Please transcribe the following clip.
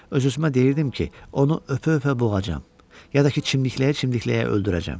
Öz-özümə deyirdim ki, onu öpə-öpə boğacam, ya da ki, çimdikləyə-çimdikləyə öldürəcəm.